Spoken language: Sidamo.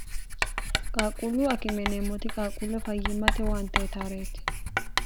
qaaqquullu akimeneemmooti qaaqquulla fayyimmate waantee taareeti